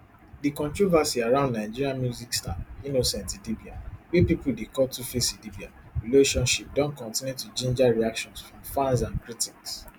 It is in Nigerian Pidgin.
di controversy around nigeria music star innocent idibia wey pipo dey call tuface idibia relationship don kontinu to ginger reactions from fans and critics